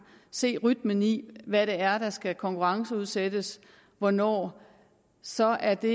se rytmen i hvad det er der skal konkurrenceudsættes og hvornår så er det